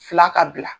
Fila ka bila